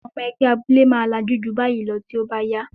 Àwọn ẹgbẹ́ abúlé máa lajú ju báyìí lọ tí ó bá yá.